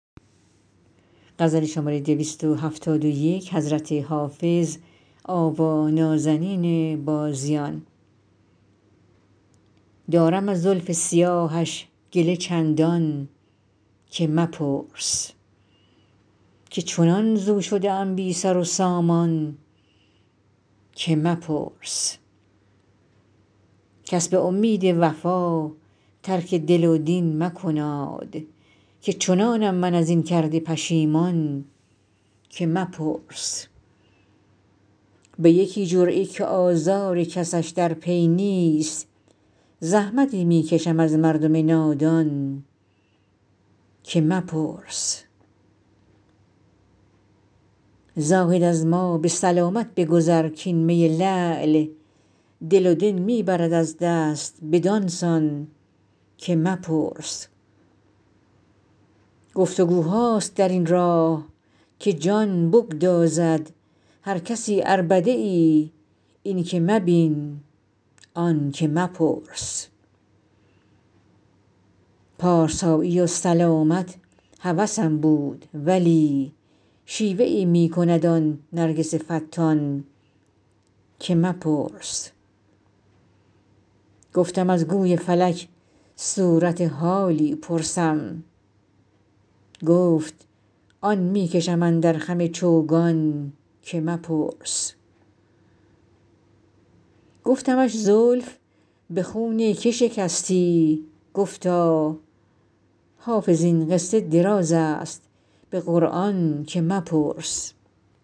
دارم از زلف سیاهش گله چندان که مپرس که چنان ز او شده ام بی سر و سامان که مپرس کس به امید وفا ترک دل و دین مکناد که چنانم من از این کرده پشیمان که مپرس به یکی جرعه که آزار کسش در پی نیست زحمتی می کشم از مردم نادان که مپرس زاهد از ما به سلامت بگذر کـ این می لعل دل و دین می برد از دست بدان سان که مپرس گفت وگوهاست در این راه که جان بگدازد هر کسی عربده ای این که مبین آن که مپرس پارسایی و سلامت هوسم بود ولی شیوه ای می کند آن نرگس فتان که مپرس گفتم از گوی فلک صورت حالی پرسم گفت آن می کشم اندر خم چوگان که مپرس گفتمش زلف به خون که شکستی گفتا حافظ این قصه دراز است به قرآن که مپرس